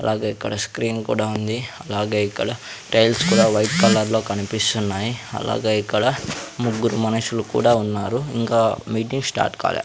అలాగే ఇక్కడ స్క్రీన్ కూడా ఉంది అలాగే ఇక్కడ టైల్స్ కుడా వైట్ కలర్ లో కనిపిస్తున్నాయి అలాగే ఇక్కడ ముగ్గురు మనుషులు కూడా ఉన్నారు ఇంకా మీటింగ్ స్టార్ట్ కాలే --